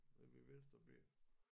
Ved mit venstre ben